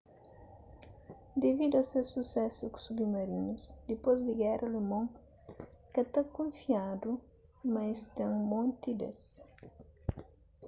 devidu a ses susésu ku submarinus dipôs di géra alemon ka ta kunfiadu ma es ten monti des